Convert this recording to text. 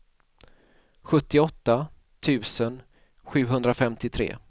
sjuttioåtta tusen sjuhundrafemtiotre